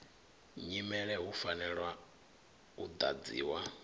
nyimele hu fanelwa u ḓadziwa